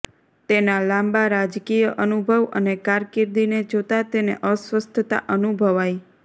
તેના લાંબા રાજકીય અનુભવ અને કારકિર્દીને જોતા તેને અસ્વસ્થતા અનુભવાઈ